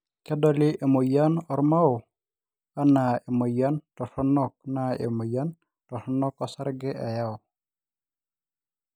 kedoli emoyian ormao anaa emoyian toronok naa emoyian toronok osarge eyau